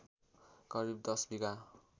करिब १० विगाहा